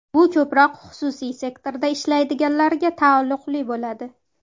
Bu ko‘proq xususiy sektorda ishlaydiganlarga taalluqli bo‘ladi.